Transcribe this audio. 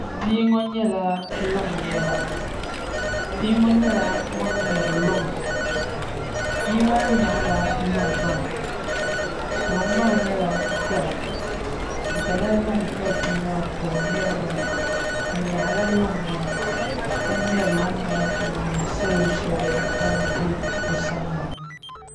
Bia ŋo nyɛla ŋun ŋmɛri luŋa bia maa nyaɣala luŋ maa luŋ maa nyɛla dala dala luŋ ka bia maa ka o ŋmɛri maa o nyaɣala luŋ maa ka ŋmɛri luŋ maa n niŋdi salo shab ban bɛ o sani maa